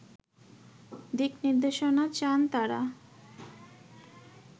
দিকনির্দেশনা চান তারা